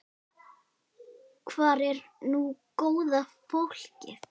Hvar er nú góða fólkið?